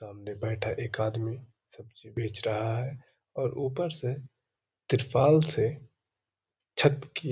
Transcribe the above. सामने बैठा एक आदमी सब्जी बेच रहा है और ऊपर से तिरपाल से छत की --